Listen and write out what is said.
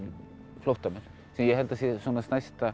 flóttamenn sem ég held að séu stærsta